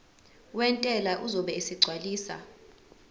wentela uzobe esegcwalisa